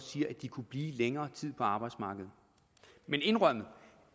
siger at de kunne blive længere tid på arbejdsmarkedet men indrømmet